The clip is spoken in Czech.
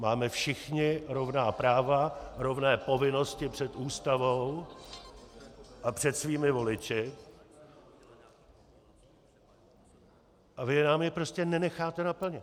Máme všichni rovná práva, rovné povinnosti před Ústavou a před svými voliči, a vy nám je prostě nenecháte naplnit.